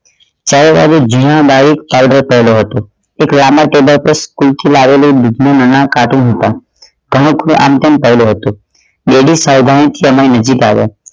ત્યારે મારે જૂના પાડ્યો હતો એક રામા ટેબલ પર school થી લાવેલો હમૂક નો આમ તેમ પડ્યો હતો daddy નજીક આવ્યા